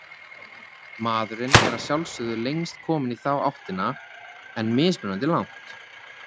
Maðurinn er að sjálfsögðu lengst kominn í þá áttina, en mismunandi langt.